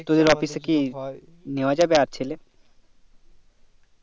তোদের office কি নেওয়া যাবে আর ছেলে